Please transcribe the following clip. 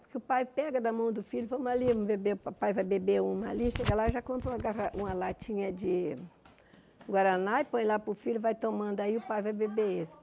Porque o pai pega da mão do filho, vamos ali, beber o pai vai beber uma ali, chega lá e já compra uma garra uma latinha de Guaraná e põe lá para o filho, vai tomando, aí o pai vai beber esse.